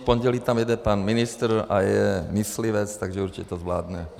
V pondělí tam jede pan ministr a je myslivec, takže určitě to zvládne.